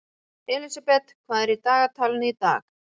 Elínbet, hvað er í dagatalinu í dag?